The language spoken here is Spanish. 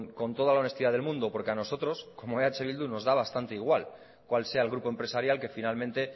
con toda la honestidad del mundo porque a nosotros como eh bildu nos da bastante igual cual sea el grupo empresarial que finalmente